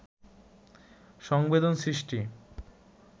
সংবেদন সৃষ্টি